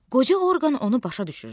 Qoca Orxan onu başa düşürdü.